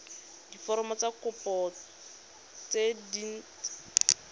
diforomo tsa kopo tse dint